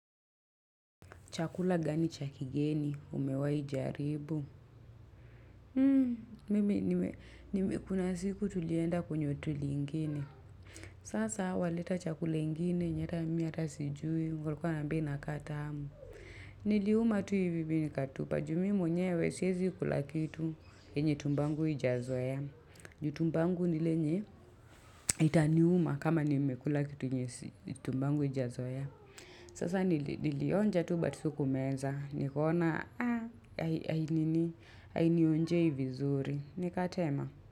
Chakula gani cha kigeni, umewai jaribu. Hmm, mimi, nime nime kuna siku tulienda kwenye hoteli ingine. Sasa walileta chakula ingine, yenye hata mimi hata sijui. Walikuwa wananiambia inakaa tamu. Niliuma tu hivi nikatupa. Juu mimi mwenyewe, siwezi kula kitu, yenye tumbo yangu haijazoea. Juu tumbo yangu ni ile yenye, itaniuma kama nimekula kitu yenye tumbo yangu haijazoea. Sasa nilionja tu but sikumeza. Nikoona hainionjei vizuri. Nikatema.